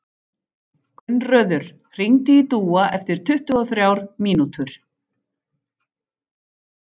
Gunnröður, hringdu í Dúa eftir tuttugu og þrjár mínútur.